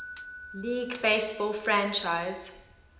league baseball franchise